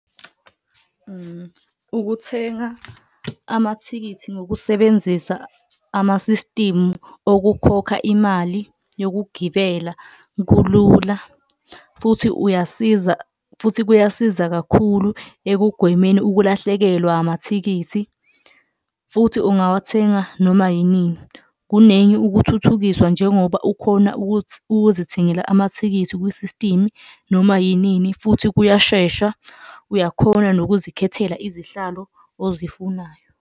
Ukuthenga amathikithi ngokusebenzisa amasistimu okukhokha imali yokugibela kulula futhi uyasiza, futhi kuyasiza kakhulu ekugwemeni ukulahlekelwa amathikithi futhi ungawathenga noma yinini. Kunengi ukuthuthukiswa njengoba ukhona ukuzithengela amathikithi kwisistimu noma yinini futhi kuyashesha, uyakhona nokuzikhethela izihlalo ozifunayo.